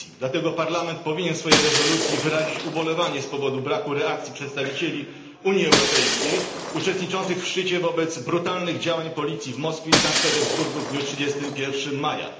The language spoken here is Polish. Dlatego Parlament powinien w swojej rezolucji wyrazić ubolewanie z powodu braku reakcji przedstawicieli Unii Europejskiej uczestniczących w szczycie wobec brutalnych działań policji w Moskwie i Sankt Petersburgu w dniu 31 maja.